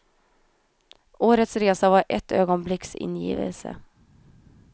Årets resa var ett ögonblicks ingivelse.